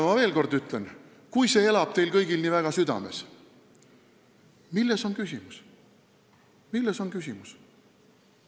Ma ütlen veel kord: kui see elab teil kõigil nii väga südames, siis milles on küsimus?